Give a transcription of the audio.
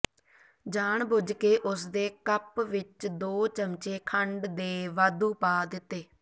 ਜਾਣ ਬੁਝਕੇ ਉਸਦੇ ਕੱਪ ਵਿਚ ਦੋ ਚਮਚੇ ਖੰਡ ਦੇ ਵਾਧੂ ਪਾ ਦਿੱਤੇ